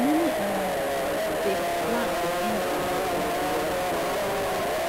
many analysts believe say di plan to end di war don already start